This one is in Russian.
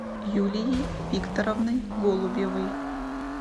юлией викторовной голубевой